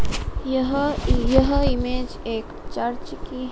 यह यह इमेज एक चर्च की--